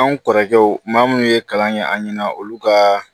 Anw kɔrɔkɛw maa munnu ye kalan kɛ an ɲɛna olu ka